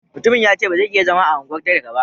Mutumin ya ce ba zai iya zama a unguwar talaka ba.